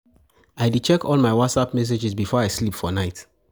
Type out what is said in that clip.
I dey check all my Whatsapp messages before I sleep for night.